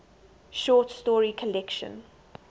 short story collection